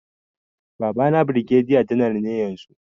Babana birgediya janar ne yanzu